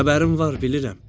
Xəbərim var, bilirəm.